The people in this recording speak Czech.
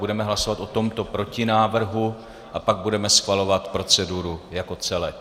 Budeme hlasovat o tomto protinávrhu a pak budeme schvalovat proceduru jako celek.